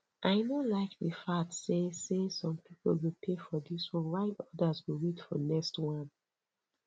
i no like the fact say say some people go pay for dis one while others go wait for next wan